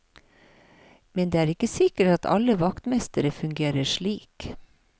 Men det er ikke sikkert at alle vaktmestere fungerer slik.